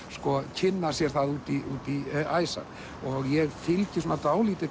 kynna sér það út í æsar ég fylgi svona dálítið